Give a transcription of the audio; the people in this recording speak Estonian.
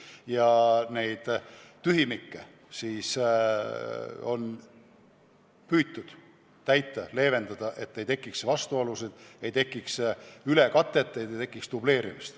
Ja olemasolevaid tühimikke on püütud täita, et ei tekiks vastuolusid ja ei tekiks ka ülekatet, ei tekiks dubleerimist.